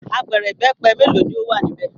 Apẹ̀rẹ̀ ìbẹ́pẹ mélòó ni ó wà níbẹ̀?